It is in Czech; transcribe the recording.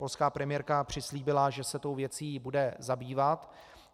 Polská premiérka přislíbila, že se tou věcí bude zabývat.